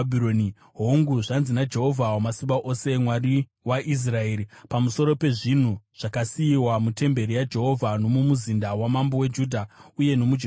Hongu, zvanzi naJehovha Wamasimba Ose, Mwari waIsraeri, pamusoro pezvinhu zvakasiyiwa mutemberi yaJehovha nomumuzinda wamambo weJudha uye nomuJerusarema: